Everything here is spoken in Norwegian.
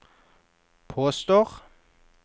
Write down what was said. påstår